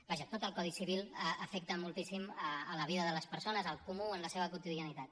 vaja tot el codi civil afecta moltíssim la vida de les persones el comú en la seva quotidianitat